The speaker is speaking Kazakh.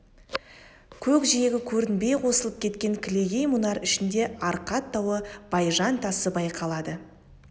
көкжиегі көрінбей қосылып кеткен кілегей мұнар ішінде арқат тауы байжан тасы байқалады